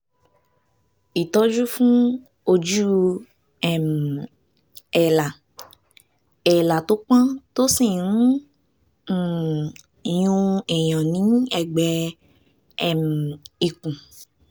ìtọ́jú fún ojú um èélá èélá tó pọ́n tó sì ń um yún èèyàn ní ẹ̀gbẹ́ um ikùn